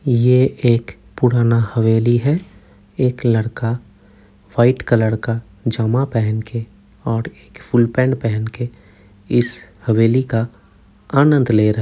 ये एक पुराना हवेली है। एक लड़का व्हाइट कलर का जमा पहन के और एक फुल पैंट पहन के इस हवेली का आनंद ले --